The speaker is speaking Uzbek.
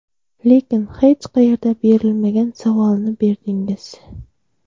Lekin hech qayerda berilmagan savolni berdingiz.